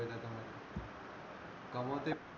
कमव तेच